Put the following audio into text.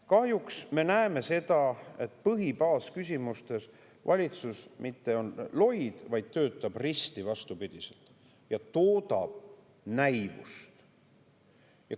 Kahjuks me näeme seda, et põhibaasküsimustes valitsus mitte ei ole loid, vaid töötab risti vastupidiselt ja toodab näivust.